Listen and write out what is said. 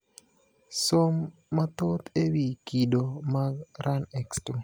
Som mathoth ewi kido mag RUNX2.